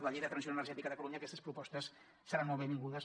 a la llei de transició energètica de catalunya aquestes propostes seran molt benvingudes